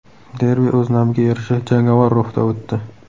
Derbi o‘z nomiga yarasha jangovar ruhda o‘tdi.